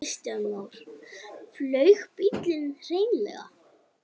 Kristján Már: Flaug bíllinn hreinlega?